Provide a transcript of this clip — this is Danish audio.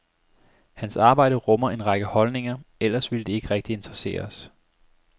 Hans arbejde rummer en række holdninger, ellers ville det ikke rigtig interessere os.